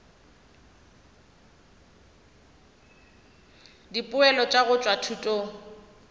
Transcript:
dipoelo tša go tšwa thutong